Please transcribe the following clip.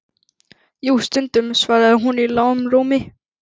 Jú, stundum, svaraði hún í lágum rómi.